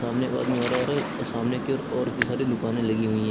सामने एक आदमी आ रहा है सामने की ओर और भी सारी दुकाने लगी हुई है।